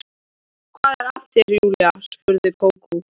Hvað er að þér Júlía? spurði Kókó.